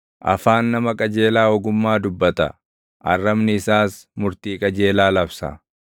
Afaan nama qajeelaa ogummaa dubbata; arrabni isaas murtii qajeelaa labsa.